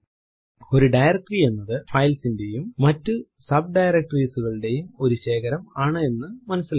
ഒരു ഡയറക്ടറി എന്നത് ഫൈൽസ് ന്റെയും മറ്റു ഡയറക്ടറീസ് കളുടെയും ഒരു ശേഖരം ആണ് എന്ന് മനസിലാക്കാം